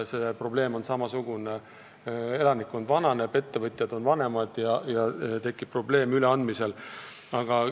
Ka mujal on samasugune probleem: elanikkond vananeb, ettevõtjad on vanemad ja ettevõtte üleandmisega tekib raskusi.